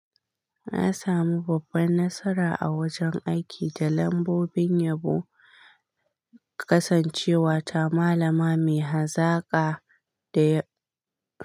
Na samu babban nasara a wajen aiki da lambobin yabo, kasancewa ta malama mai hazaƙa da.